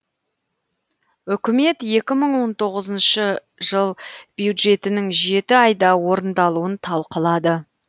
үкімет екі мың он тоғызыншы жыл бюджетінің жеті айда орындалуын талқылады